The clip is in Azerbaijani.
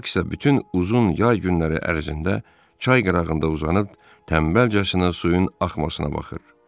Bak isə bütün uzun yay günləri ərzində çay qırağında uzanıb tənbəlcəsinə suyun axmasına baxır.